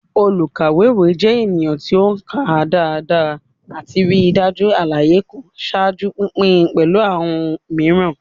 Olukawewe jẹ ẹnikan ti o ka daradara ati rii daju alaye kan, ṣaaju pinpin pẹlu awọn miiran.